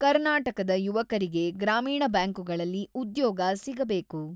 ಕರ್ನಾಟಕದ ಯುವಕರಿಗೆ ಗ್ರಾಮೀಣ ಬ್ಯಾಂಕುಗಳಲ್ಲಿ ಉದ್ಯೋಗ ಸಿಗಬೇಕು.